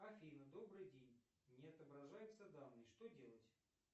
афина добрый день не отображаются данные что делать